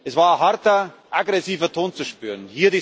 Es war ein harter, aggressiver Ton zu spüren.